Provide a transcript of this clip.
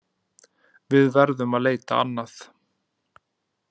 Við verðum að leita annað.